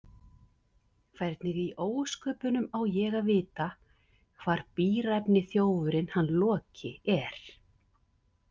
Hvernig í ósköpunum á ég að vita hvar bíræfni þjófurinn hann Loki er?